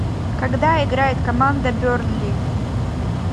когда играет команда бернли